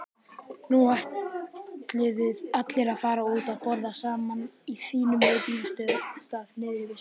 Nú ætluðu allir að fara út að borða saman á fínum veitingastað niðri við ströndina.